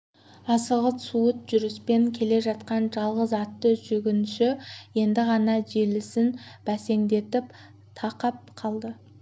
асығыс суыт жүріспен келе жатқан жалғыз атты жүргінші енді ғана желісін бәсеңдетіп тақап қалды